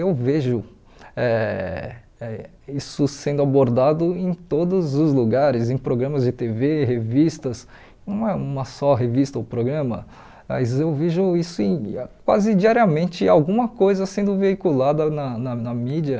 Eu vejo eh isso sendo abordado em todos os lugares, em programas de tê vÊ, revistas, não é uma só revista ou programa, mas eu vejo isso em quase diariamente, alguma coisa sendo veiculada na na na mídia.